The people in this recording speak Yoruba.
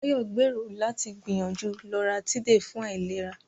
Bayo gbèrò láti gbìyànjú Loratiday fún àìlera.